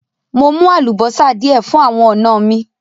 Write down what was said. Mò mú àlúbọ́sá díẹ̀ fún àwọn ọ̀na mi.